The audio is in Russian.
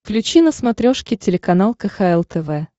включи на смотрешке телеканал кхл тв